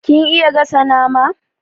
Kin iya gasa nama?